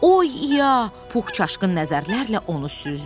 Oy İya, Pux çaşqın nəzərlərlə onu süzdü.